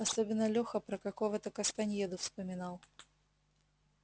особенно леха про какого-то кастаньеду вспоминал